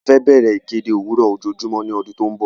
A fẹ́ bẹ̀rẹ̀ ìkéde òwúrò ojoojúmọ́ ní ọdún tí ó ń bọ̀.